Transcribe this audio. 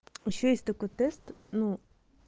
ещё есть такой тест ну